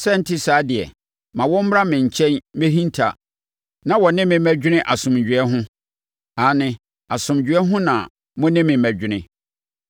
Sɛ ɛnte saa deɛ, ma wɔn mmra me nkyɛn mmɛhinta na wɔ ne me mmɛdwene asomdwoeɛ ho, aane, asomdwoeɛ ho na mo ne me mmɛdwene.”